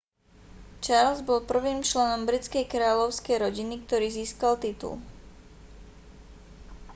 charles bol prvým členom britskej kráľovskej rodiny ktorý získal titul